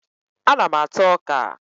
Ana m ata ọka